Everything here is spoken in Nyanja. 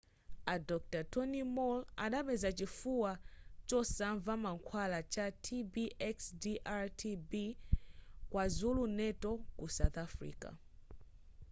a dr tony moll adapeza chifuwa chosanva mankhwala cha tb xdr -tb kwazulu natal ku south africa